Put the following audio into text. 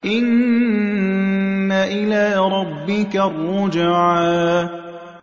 إِنَّ إِلَىٰ رَبِّكَ الرُّجْعَىٰ